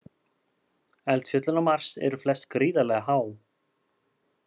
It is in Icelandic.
Eldfjöllin á Mars eru flest gríðarlega há.